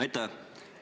Aitäh!